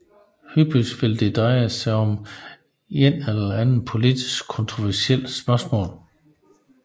Hyppigt vil det dreje sig om et eller andet politisk kontroversielt spørgsmål